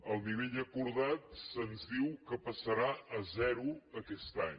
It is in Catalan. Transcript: el nivell acordat se’ns diu que passarà a zero aquest any